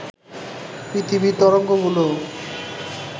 পৃথিবীর তরঙ্গগুলো